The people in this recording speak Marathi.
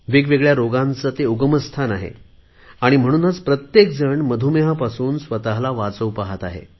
वेगवेगळ्या रोगांचे ते प्रवेशद्वार आहे आणि म्हणूनच प्रत्येकजण मधुमेहापासून स्वतला वाचवू पहात आहे